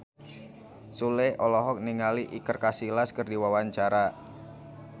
Sule olohok ningali Iker Casillas keur diwawancara